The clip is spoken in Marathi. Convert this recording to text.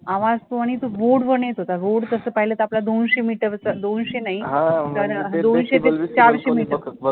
आवाज तो आणि road वरनं येतं होता, road तसं पाहिलं तर आपला दोनशे meter चा दोनशे नाही दोनशे ते चारशे meter